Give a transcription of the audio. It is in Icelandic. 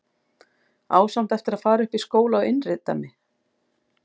Á samt eftir að fara upp í skóla og láta innrita mig.